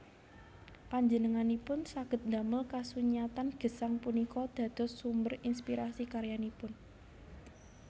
Panjenenganipun saged ndamel kasunyatan gesang punika dados sumber inspirasi karyanipun